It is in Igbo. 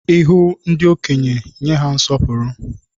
Ihu ndị okenye, nye ha nsọpụrụ